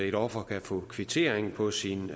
et offer kan få kvittering på sin